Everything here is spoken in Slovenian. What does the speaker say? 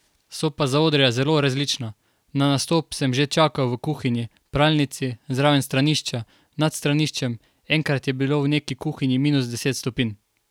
So pa zaodrja zelo različna, na nastop sem že čakal v kuhinji, pralnici, zraven stranišča, nad straniščem, enkrat je bilo v neki kuhinji minus deset stopinj.